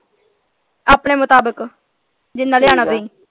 ਆਪਣੇ ਮੁਤਾਬਿਕ ਜਿਨ੍ਹਾਂ ਲਿਆਉਣਾ ਤੁਸੀਂ।